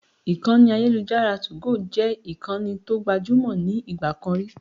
Ìkànnì ayélujára 2go jẹ́ ìkànnì tó gbajúmò ní ìgbà kan rí.